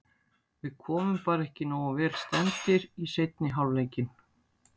Við komum bara ekki nógu vel stemmdir í seinni hálfleikinn.